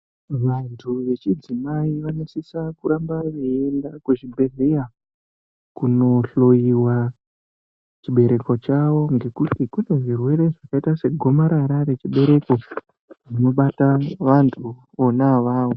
Vantu vechidzimai vanosisa kuramba veyienda kuzvibhedhlera kunohloyiwa chibereko chawo ngekuti kune zvirwere zvakaita se gomarara rechibereko right obata vantu vona avavo.